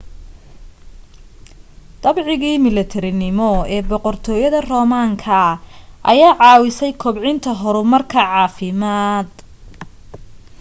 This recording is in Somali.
dabcigii milatarinimo ee boqortooyada roomaanka ayaa caawisay kobcinta horumarka caafimaad